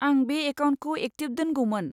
आं बे एकाउन्टखौ एक्टिभ दोनगौमोन।